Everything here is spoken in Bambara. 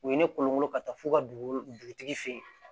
U ye ne kolonkolon ka taa fo ka dugu dugutigi fɛ yen